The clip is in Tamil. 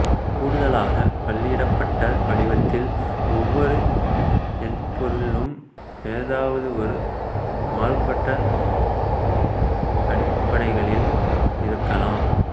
கூடுதலாக புள்ளியிடப்பட்ட வடிவத்தில் ஒவ்வொரு எண்பொருளும் எதாவது ஒரு மாறுபட்ட அடிப்படைகளில் இருக்கலாம்